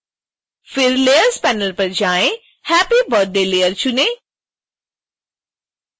फिर layers panel पर जाएँ happy birthday लेयर चुनें